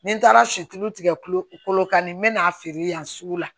Ni n taara situlu tigɛ kulokan nin n bɛ n'a feere yan sugu la